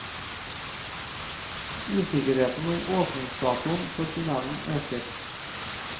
Usikkerheten om åpningsdatoen for tunnelen øker.